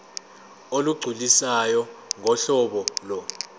olugculisayo ngohlobo lo